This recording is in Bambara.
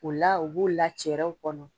U la u b'u la cɛrɛ kɔnɔ.